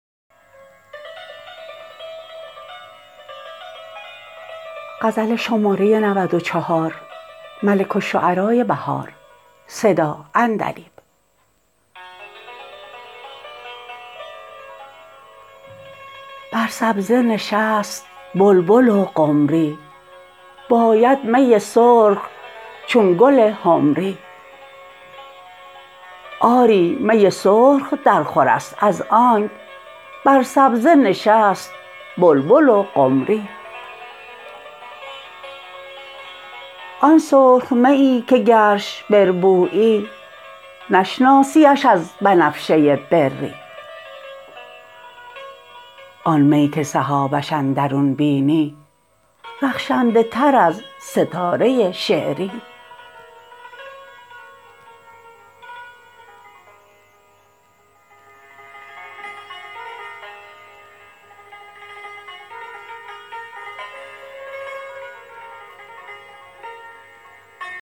بر سبزه نشست بلبل و قمری باید می سرخ چون گل حمری آری می سرخ درخور است از آنک بر سبزه نشست بلبل و قمری آن سرخ میی که گرش بربویی نشناسی اش از بنفشه بری آن می که سحابش اندرون بینی رخشنده تر از ستاره شعری